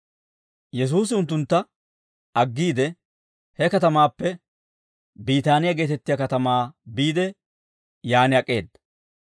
Yesuusi unttuntta aggiide, he katamaappe Biitaaniyaa geetettiyaa katamaa biide, yaan ak'eeda.